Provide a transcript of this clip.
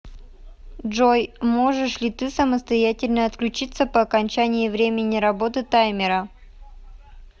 джой можешь ли ты самостоятельно отключиться по окончании времени работы таймера